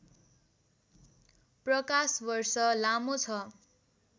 प्रकाश वर्ष लामो छ